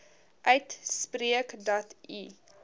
uitspreek dat u